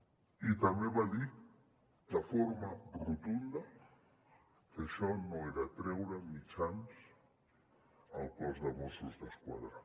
i també va dir de forma rotunda que això no era treure mitjans al cos de mossos d’esquadra